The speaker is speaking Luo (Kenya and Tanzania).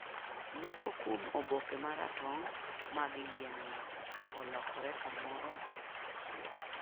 Moko kuom oboke ma ratong mag yien-no olokore kamoro achiel.